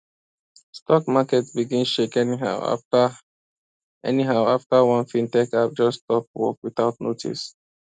stock market begin shake anyhow after anyhow after one fintech app just stop work without notice